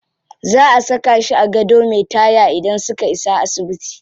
Za a saka shi a gado me taya idan suka isa asibiti.